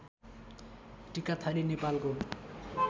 टिकाथली नेपालको